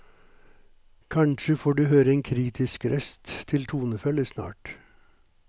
Kanskje får du høre en kritisk røst til tonefølge snart.